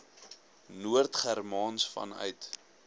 noord germaans vanuit